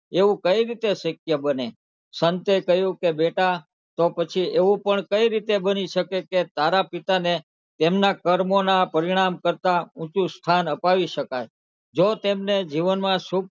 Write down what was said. એવું કઈ રીતે શક્ય બને સંતે કહ્યું કે બેટા તો પછી એવું પણ કઈ રીતે બની શકે કે તારા પિતાને એમનાં કર્મોનાં પરિણામ કરતાં ઊંચું સ્થાન અપાવી શકાય જો તેમને જીવનમાં શુભ,